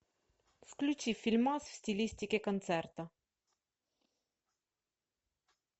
включи фильмас в стилистике концерта